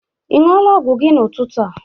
Ị ṅụọla ọgwụ gị n'ụtụtụ a?